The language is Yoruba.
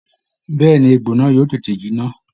Bẹ́ẹ̀ ni, egbò náà yóò tètè jinná